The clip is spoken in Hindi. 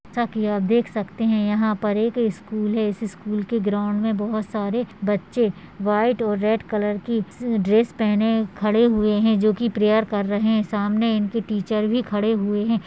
जैसे की आप देख सकते हैं यहाँ पर एक स्कूल है इस स्कूल के ग्राउंड में बहोत सारे बच्चे वाइट और रेड कलर की ड्रेस पहने खड़े हुए हैं जोकि प्रेयर कर रहे सामने इनके टीचर भी खड़े हुए हैं।